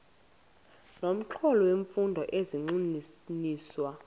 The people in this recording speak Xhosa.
nomxholo wemfundo zigxininiswa